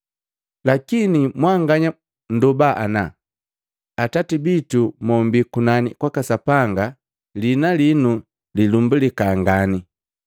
Lakini mwanganya nndoba ana, ‘Atati bitu mombii kunani kwaka Sapanga kwaka Sapanga, liina linu lilumbalika ngani.